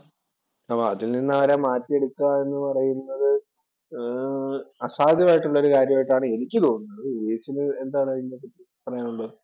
അതിൽ നിന്ന് അവരെ മാറ്റിയെടുക്കുക എന്ന് പറയുന്നത് ഏർ അസാധ്യമായിട്ടുള്ള ഒരു കാര്യമായിട്ടാണ് എനിക്ക് തോന്നുന്നത്. ഉപേഷിന് എന്താണ് ഇതിനെ പറ്റി പറയാനുള്ളത്.